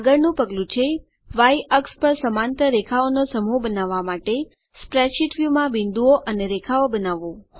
આગળનું પગલું છે વાય અક્ષ પર સમાંતર રેખાઓનો સમૂહ બનાવવા માટે સ્પ્રેડશીટ વ્યુમાં બિંદુઓ અને રેખાઓ બનાવવું